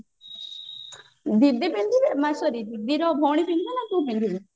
ଦିଦି ପିନ୍ଧିବେ ନା sorry ଦିଦିର ଭଉଣୀ ପିନ୍ଧିବେ ନା ତୁ ପିନ୍ଧିବୁ